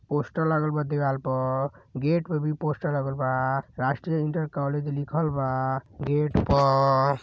Poster लागल बा देवाल प। गेट प भी पोस्टर लागल बा। राष्ट्रीय इंटर कॉलेज लिखल बा गेट प।